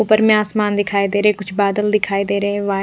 ऊपर में आसमान दिखाई दे रहे है कुछ बादल दिखाई दे रहे है वा--